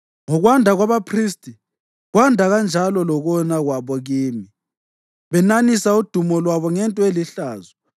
Ngokwanda kwabaphristi, kwanda kanjalo lokona kwabo kimi, benanisa uDumo lwabo ngento elihlazo.